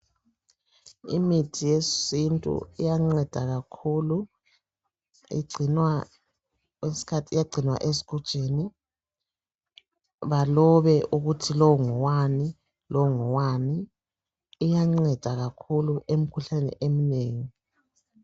imithi yesintu iyanceda kakhulu igcinwa kwesinye isikhathi iyagcinwa esigujini balobe ukuthi lowu ngowani lowu ngowani iyanceda kakhulu emikhuhlaneni eminengi